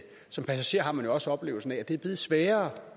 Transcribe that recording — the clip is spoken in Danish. som passager har man jo også oplevelsen af at det er blevet sværere